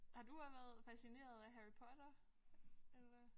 Har du også været fascineret af Harry Potter eller?